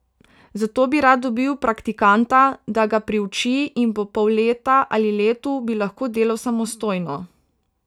Zato bi rad dobil praktikanta, da ga priuči, in po pol leta ali letu bi lahko delal samostojno.